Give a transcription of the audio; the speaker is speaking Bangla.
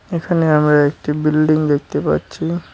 এখানে আমরা একটি বিল্ডিং দেখতে পাচ্ছি।